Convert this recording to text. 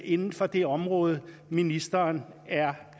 inden for det område ministeren er